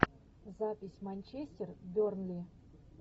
запись манчестер бернли